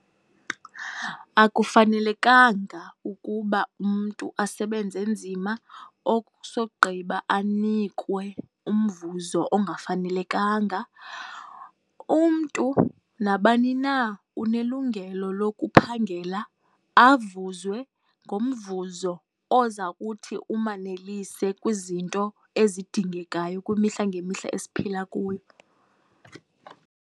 Akufanelekanga ukuba umntu asebenze nzima okusogqiba anikwe umvuzo ongafanelekanga. Umntu, nabani na unelungelo lokuphangela avuzwe ngomvuzo oza kuthi umanelise kwizinto ezidingekayo kwimihla ngemihla esiphila kuyo.